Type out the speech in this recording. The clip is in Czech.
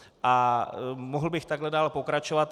A mohl bych takhle dál pokračovat.